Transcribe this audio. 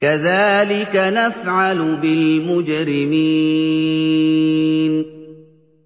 كَذَٰلِكَ نَفْعَلُ بِالْمُجْرِمِينَ